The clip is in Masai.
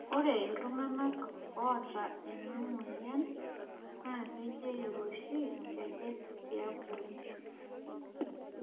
ore iltunganak oota ena moyian naa kejeyu oshi inkejek tiabori